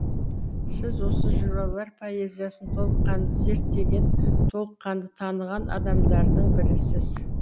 сіз осы жыраулар поэзиясын толыққанды зерттеген толыққанды таныған адамдардың бірісіз